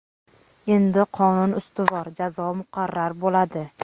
Endi qonun ustuvor, jazo muqarrar bo‘ladi.